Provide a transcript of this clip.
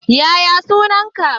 Yaya sunan ka?